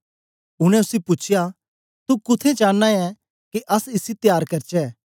उनै उसी पूछया तू कुत्थें चांना ऐ के अस इसी त्यार करचै